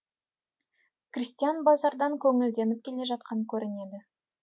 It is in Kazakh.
крестьян базардан көңілденіп келе жатқан көрінеді